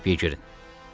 Üçüncü qapıya girin.